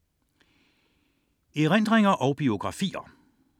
Erindringer og biografier